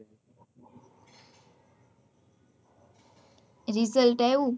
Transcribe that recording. result આયું?